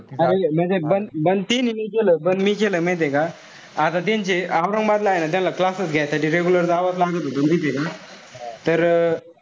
अरे म्हणजे बंद त्याने नई केलं पण मी केलं माहितेय का. आता त्यांचे औरंगाबादला ए ना त्यान्ला classes घ्य्यासाठी regular जावंच लागत होत माहितीय का. तर,